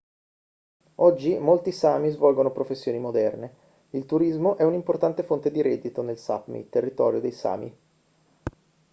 oggi molti sámi svolgono professioni moderne. il turismo è un'importante fonte di reddito nel sápmi il territorio dei sámi